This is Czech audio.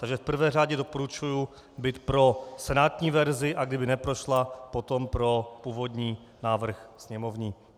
Takže v prvé řadě doporučuji být pro senátní verzi, a kdyby neprošla, potom pro původní návrh sněmovní.